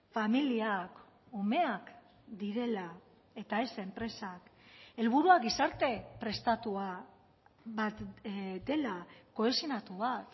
familiak umeak direla eta ez enpresak helburua gizarte prestatua bat dela kohesionatu bat